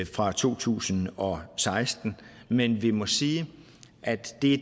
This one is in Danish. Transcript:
fra to tusind og seksten men vi må sige at det